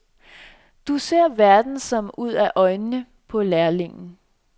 Du ser verdenen som ud af øjnene på lærlingen.